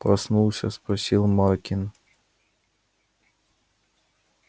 проснулся спросил маркин